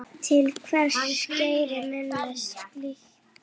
Til hvers gera menn slíkt?